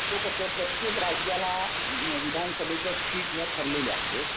तो कसं प्रत्येक राज्याला विधानसभेच्या सीट ह्या ठरलेल्या आहेत